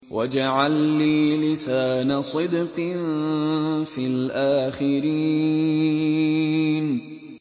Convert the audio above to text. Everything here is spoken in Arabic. وَاجْعَل لِّي لِسَانَ صِدْقٍ فِي الْآخِرِينَ